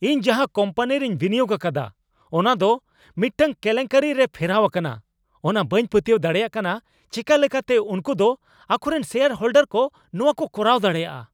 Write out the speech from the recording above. ᱤᱧ ᱡᱟᱦᱟ ᱠᱳᱢᱯᱟᱱᱤᱨᱮᱧ ᱵᱤᱱᱤᱭᱳᱜ ᱟᱠᱟᱫᱟ ᱚᱱᱟ ᱫᱚ ᱢᱤᱫᱴᱟᱝ ᱠᱮᱞᱮᱝᱠᱟᱹᱨᱤ ᱨᱮ ᱯᱷᱮᱨᱟᱣ ᱟᱠᱟᱱᱟ ᱚᱱᱟ ᱵᱟᱹᱧ ᱯᱟᱹᱛᱭᱟᱹᱣ ᱫᱟᱲᱮᱭᱟᱜ ᱠᱟᱱᱟ ᱾ ᱪᱮᱠᱟ ᱞᱮᱠᱟᱛᱮ ᱩᱝᱠᱩ ᱫᱚ ᱟᱠᱚᱨᱮᱱ ᱥᱮᱭᱟᱨ ᱦᱳᱞᱰᱟᱨ ᱠᱚ ᱱᱚᱣᱟᱠᱚ ᱠᱚᱨᱟᱣ ᱫᱟᱲᱮᱭᱟᱜᱼᱟ ?